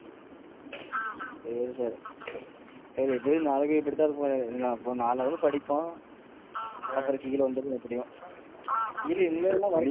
சரி, சரி எப்பிடியும், நாளைக்கும் இப்படி தான் இருப்போம், நாலு hour படிப்போம், அப்பறம் கீழ வந்துருவோம் எப்பிடியும் இரு இனிமேல்